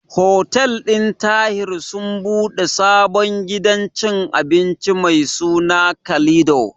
Hotel ɗin Tahir sun ɓude sabon gidan cin abinci mai suna Kalido.